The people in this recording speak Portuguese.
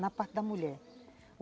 na parte da mulher.